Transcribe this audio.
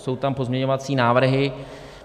Jsou tam pozměňovací návrhy.